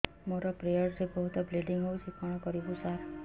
ମୋର ପିରିଅଡ଼ ରେ ବହୁତ ବ୍ଲିଡ଼ିଙ୍ଗ ହଉଚି କଣ କରିବୁ ସାର